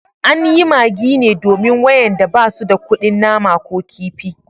An yi magi ne domin wayanda ba su da kudin nama ko kifi